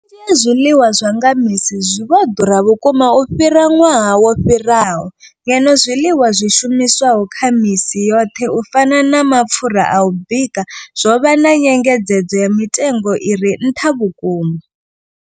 Vhunzhi ha zwiḽiwa zwa nga misi zwi vho ḓura vhukuma u fhira ṅwaha wo fhiraho, ngeno zwiḽiwa zwi shumiswaho kha misi yoṱhe u fana na mapfhura a u bika zwo vha na nyengedzedzo ya mitengo i re nṱha vhukuma.